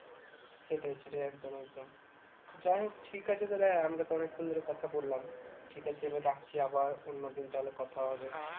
সেটাই সেটাই একদম একদম যাই হোক ঠিক আছে তাহলে আমরা তো অনেকক্ষণ ধরে কথা বললাম ঠিক আছে এবার রাখছি আবার অন্যদিন তাহলে কথা হবে